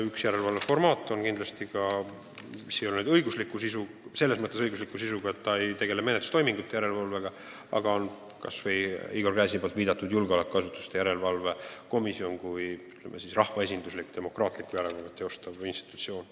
Üks järelevalveformaat, mis ei ole selles mõttes õigusliku sisuga, et see ei tegele menetlustoimingute järelevalvega, on Igor Gräzini viidatud julgeolekuasutuste järelevalve erikomisjon kui rahvaesinduslik demokraatlikku järelevalvet teostav institutsioon.